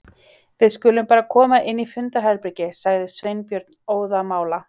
Við skulum bara koma inn í fundarherbergi sagði Sveinbjörn óðamála.